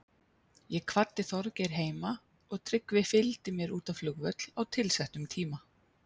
Ég kvaddi Þorgeir heima og Tryggvi fylgdi mér út á flugvöll á tilsettum tíma.